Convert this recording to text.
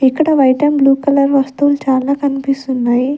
ఇక్కడ white and blue colour వస్తువులు చాలా కన్పిస్తున్నాయి.